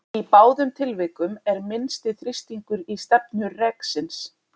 Í báðum tilvikum er minnsti þrýstingur í stefnu reksins.